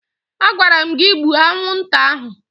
Agwara m gị gbuo anwụnta ahụ!